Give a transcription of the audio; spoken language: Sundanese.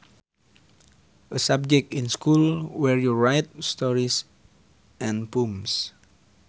A subject in school where you write stories and poems